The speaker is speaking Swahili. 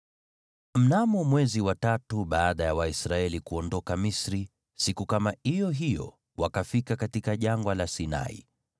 Mnamo mwezi wa tatu baada ya Waisraeli kuondoka Misri, siku kama iyo hiyo, wakafika katika Jangwa la Sinai.